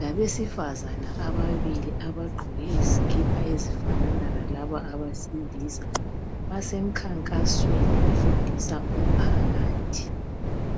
labesifazana ababili abagqoke izikipa ezifanana lalabo abesilisa basemkhankasweni bafundisa umphakathi.